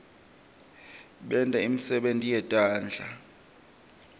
benta imisebenti yetandla